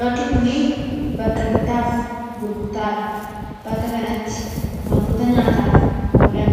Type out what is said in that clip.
bakki kunii bakka bitaaf gurgurtaadha. bakka kanatti wantoota nyaataaf oolan